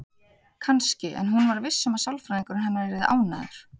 Kannski, en hún var viss um að sálfræðingurinn hennar yrði ánægður.